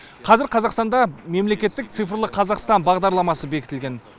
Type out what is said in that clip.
қазір қазақстанда мемлекеттік цифрлық қазақстан бағдарламасы бекітілген